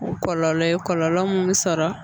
Kɔlɔlɔ ye kɔlɔlɔ mun be sɔrɔ